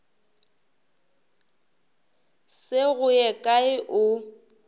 se go ye kae o